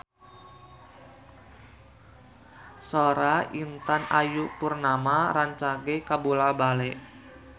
Sora Intan Ayu Purnama rancage kabula-bale